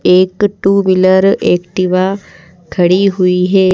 एक two wheeler Activa खड़ी हुई है।